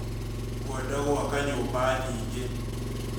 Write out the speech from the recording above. Ngwenda gwaka nyũmba nyingĩ